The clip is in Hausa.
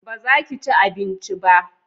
baza ka ci abinci ba?